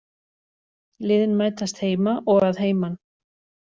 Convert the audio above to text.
Liðin mætast heima og að heiman